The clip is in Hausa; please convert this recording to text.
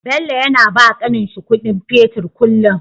Bello yAna bawa kanin shi Ƙudin fetir kullun